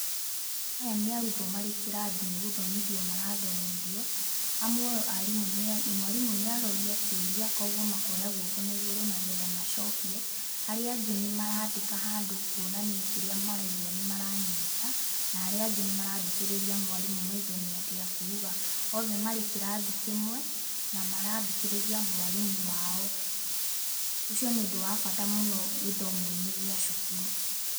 Aya nĩ arutwo marĩ kĩrathi, nĩ gũthomithio marathomithio. Amwe ao mwarimũ nĩ arorĩa kĩũria kwoguo makoya guoko na igũrũ nĩ getha macokie, arĩa angĩ nĩ marandĩka handũ kuonania kĩrĩa maraigua nĩ maranyita na arĩa angĩ nĩ marathikĩrĩria mwarimũ maigue nĩ atĩa akuga Othe marĩ kĩrathi kĩmwe na marathikĩrĩria mwarimũ wao. Ũcio nĩ ũndũ wa bata mũno gĩthomo-inĩ gĩa cukuru.